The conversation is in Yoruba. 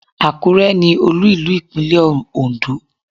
Àkúrẹ́ ni olú ìlú Ìpínlẹ̀ Ondó